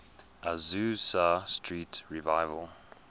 azusa street revival